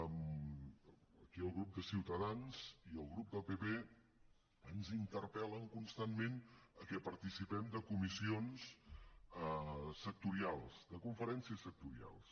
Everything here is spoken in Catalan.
aquí el grup de ciutadans i el grup del pp ens interpel·len constantment a que participem de comissions sectorials de conferències sectorials